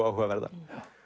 áhugaverða